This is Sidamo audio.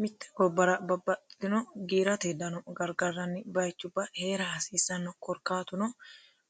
Mitte gobbara babbaxittino giiratte dano garigarani baayichuba Heera hasisanno korikkatuno